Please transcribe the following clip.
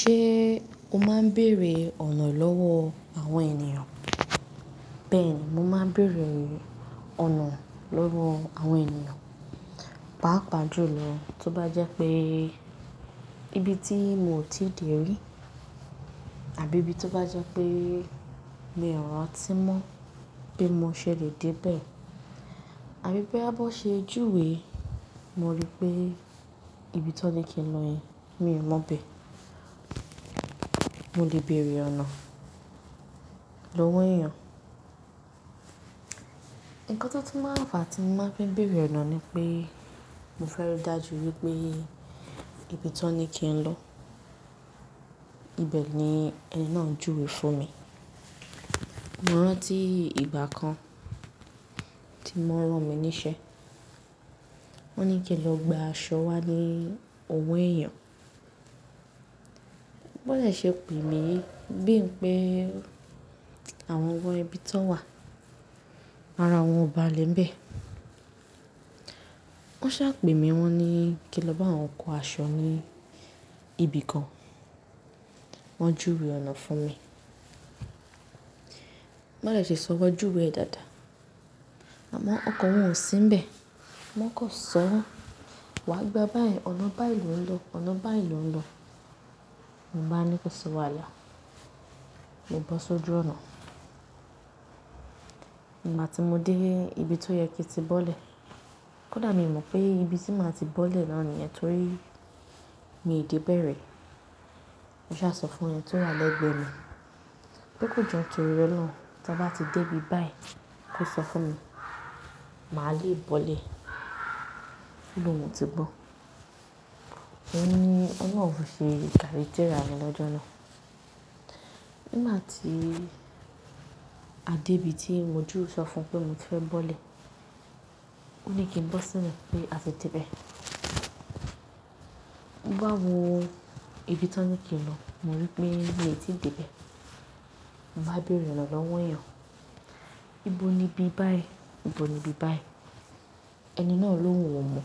Ṣé o máa ń bèrè ọ̀nà lọ́wọ́ àwọn ènìyàn? Bẹ́ẹ̀ni, mo máa ń bèrè ọ̀nà lọ́wọ́ àwọn ènìyàn. Pápa jù lọ, tó bá jẹ́ pé ibi tí mo ò tíì dè rí àbí ibi tó bá jẹ́ pé mi ò rántí mọ́ bi mo ṣè le dé bẹ̀, àbí boya bi won ṣe júwe, mo rí pé ibi tí wọ́n ní kín lọ yen mi ò mọ̀ be mo lè bèrè ọ̀nà lọ́wọ́ èèyàn. Ǹkan tó tun máa ń fa tí mo bá fiń bèrè ọ̀nà ni pé mo fẹ́ rí dájú wípé ibi tí wón ní kín lọ ibẹ̀ ni ẹni náà ń júwe fún mi. Mo rántí ìgbà kan tí wọn rán mi níṣẹ́, wón ní kín lọ gba aṣọ wá ní owo ẹ̀yàn. Bi won de ṣe pè mí bín pé àwọn gan ibí tí wọ́n wà, ara wọn ò bá lè ń bẹ̀. Wọ́n ṣá pè mí, wọ́n ní kín lọ bá wọn kó aṣọ ní ibìkan, wọ́n júwe ọ̀nà fún mi. Bi won de ṣe sọ, won júwe e dáadáa, àmọ́ ọkan wọn ò sí ń bẹ̀. Wọ́n kan sọ wá gba báyìí, ọ̀nà bá yìí lò ń lọ, ọ̀nà bá yìí lò ń lọ. Mo baa ní kó sọ wàhálà, mo bọ́ sójú ọ̀nà. Nígbà tí mo dé ibi tó yẹ kín tí bọ́lẹ̀, kódà mi ò mọ̀ pé ibi tí màá ti bọ́lẹ̀ náà nìyẹn torí mi ò dé bẹ̀rẹ̀. Mo ṣà sọ fún ẹni tí ó wà lẹ́gbẹ̀ẹ́ mi, pé kò jo nitorí Ọlọ́run, tí a bá ti dé ibi báyìí, kó sọ fún mi, màá le bọ́lẹ̀. O lo un ti gbọ́? Ò n ní ọlọ́run fi ṣe gàré térà mi lọ́jọ́ náà. Nígbà tí a dé ibi tí mo jú sọ fún pé mo ti fẹ́ bọ́lẹ̀, ó ní kí n bọ́ sílẹ̀ pé a ti dé bẹ̀. Mo bá wo ibi tí wọ́n ní kí n lọ, mo rí pé mi ò tí ì dé bẹ̀. Mo bá bèrè ọ̀nà lọ́wọ́ èèyàn, ibo ni ibi báyìí? Ibo ni ibi báyìí? Ẹni náà l’óhun ò mọ̀,